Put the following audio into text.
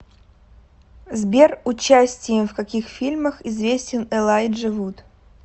сбер участием в каких фильмах известен элайджа вуд